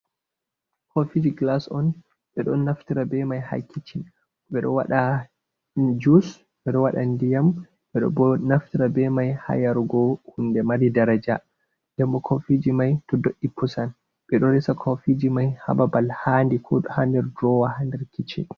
Kofiji gilas on ɓeɗo naftira be mai ha kichin, ɓeɗo waɗa jus ɓeɗo waɗa ndiyam ɓeɗo bo naftira ɓe mai ha yarugo hunde mari daraja, ndenbo kofiji mai to do'i pusan. Ɓeɗo resa kofiji mai ha babal handi ko do ha nder durowa ha kichin.